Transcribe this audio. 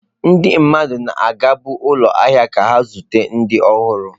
Ndị mmadụ na-agabu ụlọ ahịa ka ha zute ndị ọhụrụ.